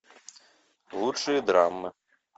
лучшие драмы